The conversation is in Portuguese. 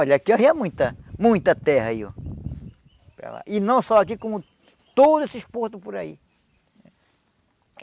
Olha, aqui arria muita, muita terra aí, oh. E não só aqui, como todos esses portos por aí.